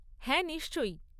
হ্যাঁ, নিশ্চয়ই।